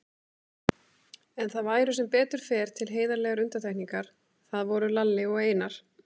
En það væru sem betur fer til heiðarlegar undantekningar, það voru Lalli og Einar.